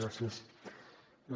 gràcies